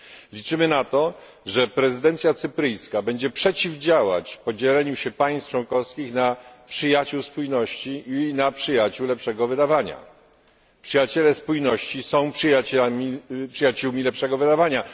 Liczymy na to, że prezydencja cypryjska będzie przeciwdziałać podziałowi państw członkowskich na przyjaciół spójności i na przyjaciół lepszego wydawania. Przyjaciele spójności są przyjaciółmi lepszego wydawania.